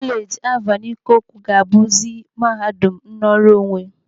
Kolej Alvan Ikoku ga-abuzi mahadum nnọrọ onwe.